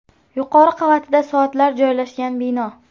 Yuqori qavatida soatlar joylashgan bino.